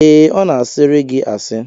Ee, ọ na-a sịịrị gị asị